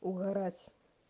угорать